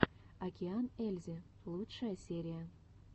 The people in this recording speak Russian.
океан ельзи лучшая серия